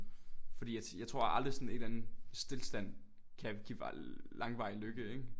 Fordi jeg tror aldrig sådan en eller anden stilstand kan give langvarig lykke ikke?